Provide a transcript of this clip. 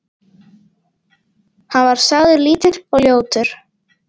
Hann var sagður lítill og ljótur.